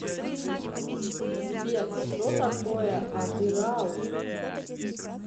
сбер что такое атырау